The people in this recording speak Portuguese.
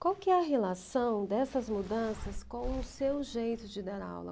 Qual que é a relação dessas mudanças com o seu jeito de dar aula?